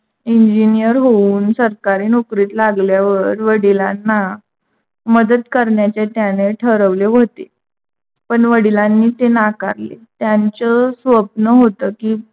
Engineer होऊन सरकारी नौकरीत लागल्यावर वडिलांना मदत करण्याचे त्याने ठरवले होते. पण वडिलांनी ते नाकारले त्यांच स्वप्न होते की,